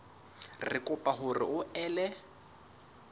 re kopa hore o ele